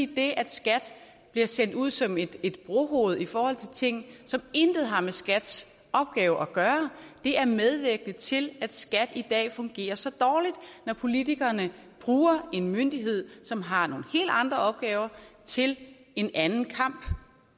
det at skat bliver sendt ud som et brohoved i forhold til ting som intet har med skats opgave at gøre er medvirkende til at skat i dag fungerer så dårligt når politikerne bruger en myndighed som har nogle helt andre opgaver til en anden kamp